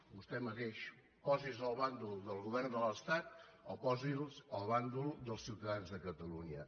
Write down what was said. vostè mateix posi’s al bàndol del govern de l’estat o posi’s al bàndol dels ciutadans de catalunya